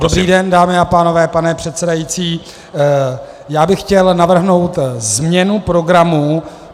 Dobrý den, dámy a pánové, pane předsedající, já bych chtěl navrhnout změnu programu.